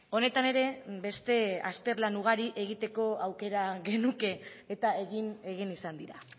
honetan ere beste azterlan ugari egiteko aukera genuke eta egin egin izan dira